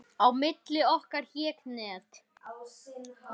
Á milli okkar hékk net.